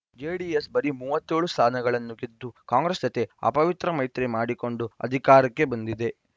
JDS ಬರೀ ಮೂವತ್ತ್ ಏಳು ಸ್ಥಾನಗಳನ್ನು ಗೆದ್ದು ಕಾಂಗ್ರೆಸ್‌ ಜತೆ ಅಪವಿತ್ರ ಮೈತ್ರಿ ಮಾಡಿಕೊಂಡು ಅಧಿಕಾರಕ್ಕೆ ಬಂದಿದೆ